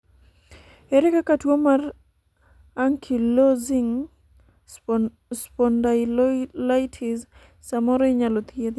ere kaka tuo mar Ankylosing spondylitis samoro inyalo thiedhi?